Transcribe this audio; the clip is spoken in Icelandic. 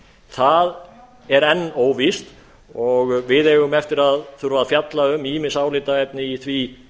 það er enn óvíst og við eigum eftir að þurfa að fjalla um ýmis álitaefni í því